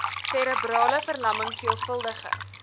serebrale verlamming veelvuldige